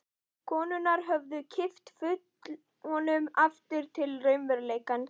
Konurnar höfðu kippt honum aftur til raunveruleikans.